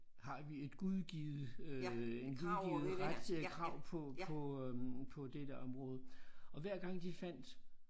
Har vi et gudgivet øh en gudgivet ret krav på på øh på dette område og hver gang de fandt